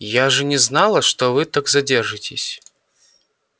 я же не знала что вы так задержитесь